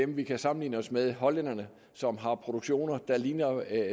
vi kan sammenligne os med hollænderne som har produktioner der ligner